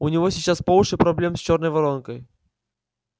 у него сейчас по уши проблем с чёрной воронкой